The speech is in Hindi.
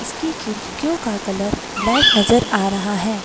इसकी खिड़कियों का कलर ब्लैक नजर आ रहा है।